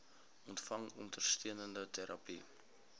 ontvang ondersteunende terapie